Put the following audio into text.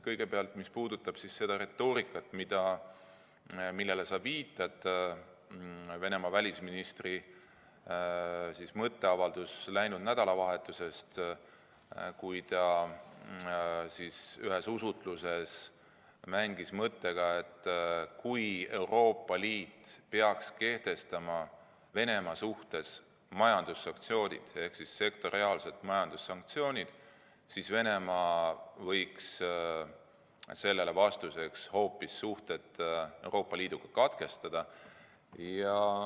Kõigepealt sellest, mis puudutab seda retoorikat, millele sa viitad – Venemaa välisministri mõtteavaldus läinud nädalavahetusest, kui ta ühes usutluses mängis mõttega, et kui Euroopa Liit peaks kehtestama Venemaa suhtes sektoriaalsed majandussanktsioonid, siis Venemaa võiks sellele vastuseks suhted Euroopa Liiduga katkestada.